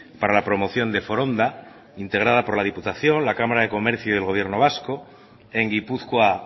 para la promoción de foronda integrada por la diputación la cámara de comercio y el gobierno vasco en gipuzkoa